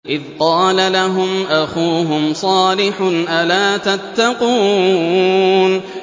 إِذْ قَالَ لَهُمْ أَخُوهُمْ صَالِحٌ أَلَا تَتَّقُونَ